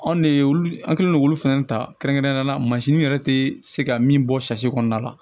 Anw de ye olu an kɛlen don k'olu fɛnɛ ta kɛrɛnkɛrɛn mansin yɛrɛ tɛ se ka min bɔ kɔnɔna la